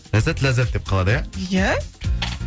ләззат ләззат деп қалады иә иә